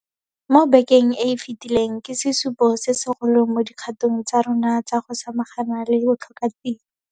Mo bekeng e e fetileng ke sesupo se segolo mo dikgatong tsa rona tsa go samagana le botlhokatiro.